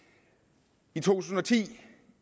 i to tusind og ti